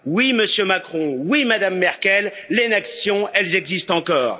Oui, Monsieur Macron, oui, Madame Merkel, les nations, elles existent encore.